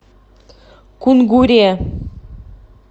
кунгуре